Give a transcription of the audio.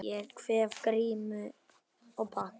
Ég kveð Grím og þakka.